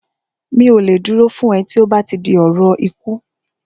Mi ò lè dúró fún ẹ tí ó bá ti di ọ̀rọ̀ ikú